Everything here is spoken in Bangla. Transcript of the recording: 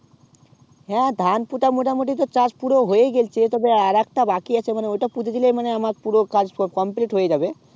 হ্যাঁ ধান পোতা মোটা মতি তো চাষ পুরো হয়ে গেল্ছে তবে আর একটা বাকি আছে মানে ওটা পুঁতে দিলে মানে আমার পুরো কাজ complete হয়ে যাবে